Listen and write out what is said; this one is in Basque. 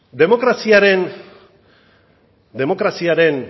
demokraziaren